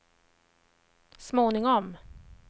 småningom